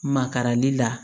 Makarali la